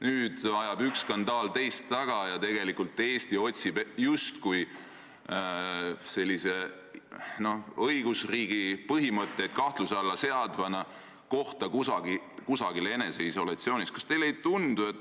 Nüüd ajab üks skandaal teist taga ja tegelikult otsib Eesti justkui sellise õigusriigi põhimõtteid kahtluse alla seadvana kohta kusagil eneseisolatsioonis.